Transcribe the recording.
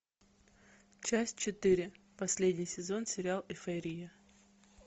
часть четыре последний сезон сериал эйфория